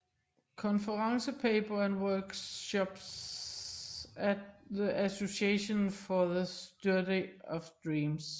Conference paper and workshop at The Association for the Study of Dreams